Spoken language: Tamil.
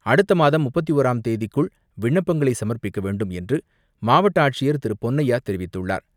அடுத்த மாதம் முப்பத்து ஓராம் தேதிக்குள் விண்ணப்பங்களை சமர்ப்பிக்க வேண்டும் என்று மாவட்ட ஆட்சியர் திரு பொன்னையா தெரிவித்துள்ளார்.